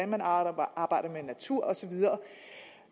man arbejder arbejder med natur og så videre